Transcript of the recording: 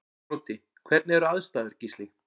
Broddi: Hvernig eru aðstæður Gísli?